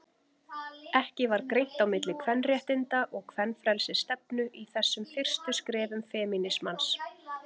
Ekki var greint á milli kvenréttinda- og kvenfrelsisstefnu í þessum fyrstu skrefum femínismans.